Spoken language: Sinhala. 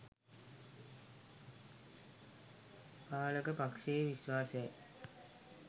පාලක පක්ෂයේ විශ්වාසයයි.